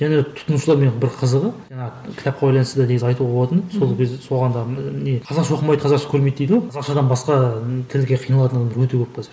және тұтынушылармен бір қызығы жаңағы кітапқа байланысты негізі айтуға болатыны сол кезде соған да не қазақша оқымайды қазақша көрмейді дейді ғой қазақшадан басқа і тілге қиналатын адамдар өте көп қазір